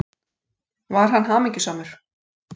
Var hann hamingjusamur?